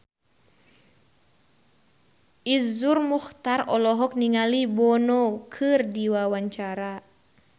Iszur Muchtar olohok ningali Bono keur diwawancara